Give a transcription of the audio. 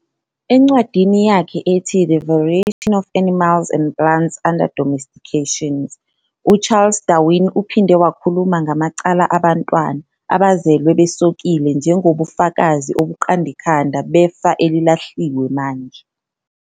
Encwadini yakhe ethi "The Variation of Animals and Plants Under Domestication", uCharles Darwin uphinde wakhuluma ngamacala abantwana "abazelwe besokile" njengobufakazi obuqand 'ikhanda " befa elilahliwe manje.